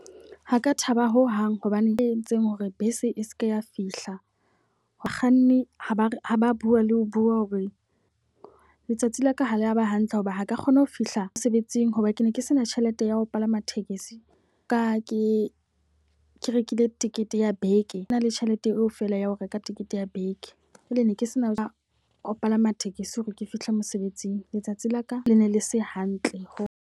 Ha ka thaba ho hang hobaneng e entseng hore bese e seke ya fihla. Mokganni ha ba ha ba bua le ho bua hore letsatsi la ka ha le a ba hantle hoba ha ka kgona ho fihla mosebetsing. Hoba ke ne ke se na tjhelete ya ho palama tekesi ka ke ke rekile tekete ya beke. Ke na le tjhelete eo feela ya ho reka tekete ya beke jwale ne ke sena ka ho palama tekesi hore ke fihle mosebetsing. Letsatsi la ka le ne le se hantle.